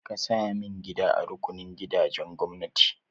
Ka saya min gida a rukunin gidajen gwamnati!